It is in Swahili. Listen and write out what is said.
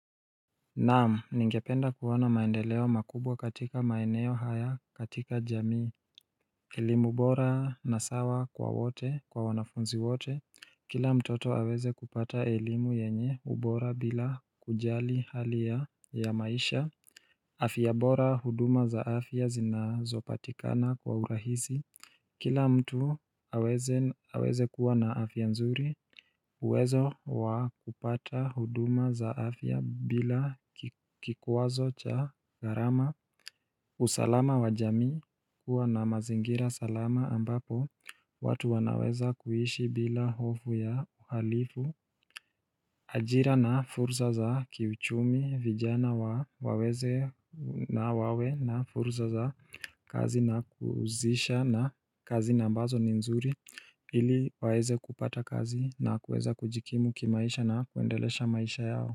Naam, ningependa kuona maendeleo makubwa katika maeneo haya katika jamii elimu bora na sawa kwa wote kwa wanafunzi wote. Kila mtoto aweze kupata elimu yenye ubora bila kujali hali ya maisha afia bora huduma za afia zinazopatikana kwa urahisi Kila mtu aweze kuwa na afia nzuri uwezo wakupata huduma za afia bila kikuazo cha gharama usalama wa jamii kuwa na mazingira salama ambapo watu wanaweza kuishi bila hofu ya uhalifu ajira na fursa za kiuchumi vijana waweze na wawe na fursa za kazi na kuzisha na kazi ambazo nzuri ili waweze kupata kazi na kuweza kujikimu kimaisha na kuendelesha maisha yao.